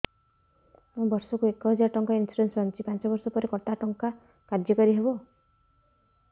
ମୁ ବର୍ଷ କୁ ଏକ ହଜାରେ ଟଙ୍କା ଇନ୍ସୁରେନ୍ସ ବାନ୍ଧୁଛି ପାଞ୍ଚ ବର୍ଷ ପରେ କଟା ଟଙ୍କା କାର୍ଯ୍ୟ କାରି ହେବ